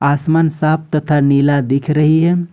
आसमान साफ तथा नीला दिख रही है।